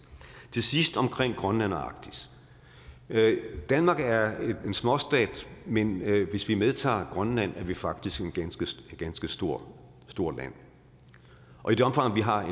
til sidst omkring grønland og arktis danmark er en småstat men hvis vi medtager grønland er vi faktisk et ganske stort stort land og i det omfang vi har